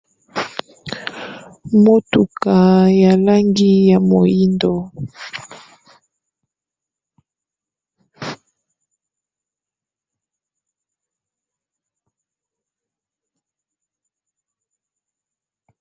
Motuka ya langi ya moyindo.